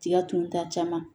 Tiga tun ta caman